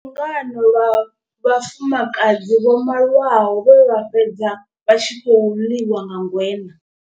Lungano lwa vhafumakadzi vho malwaho vhe vha fhedza vha tshi khou ḽiwa nga ngweṋa.